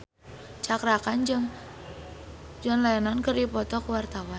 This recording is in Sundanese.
Cakra Khan jeung John Lennon keur dipoto ku wartawan